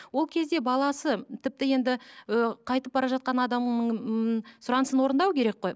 ол кезде баласы тіпті енді ы қайтып бара жатқан адамның ммм сұранысын орындау керек қой